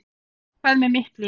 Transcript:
Hvað með mitt líf?